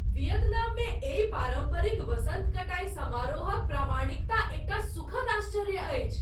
वियतनाममे एहि पारम्परिक वसन्त कटाइ समारोहक प्रामाणिकता एकटा सुखद आश्चर्य अछि।